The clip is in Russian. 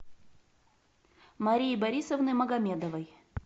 марии борисовны магомедовой